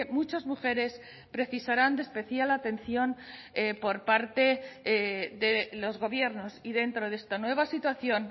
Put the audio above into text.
muchas mujeres precisarán de especial atención por parte de los gobiernos y dentro de esta nueva situación